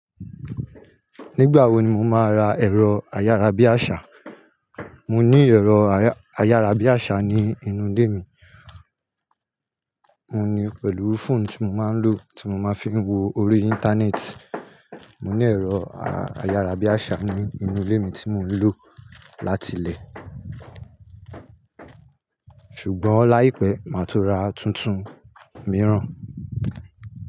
Nígbà wo ni mo máa ra ẹ̀rọ ayárabíàṣá? Mo ní ẹ̀rọ ayárabíàṣá ní inú ilé mi, mo ní pẹ̀lú fóònù tí mo máa ń lò tí mo máa ń fi wo orí Íńtánẹ́ẹ̀tì. Mo ní ẹ̀rọ ayárabíàṣá ní inú ilé mi tí mò ń lò láti ilé, ṣùgbọ́n láìpẹ́ máa tun ra tuntun mìíràn.